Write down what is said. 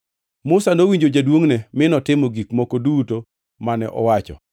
Musa nowinjo jaduongʼne mi notimo gik moko duto mane owacho.